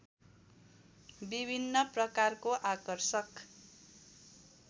विभिन्न प्रकारको आकर्षक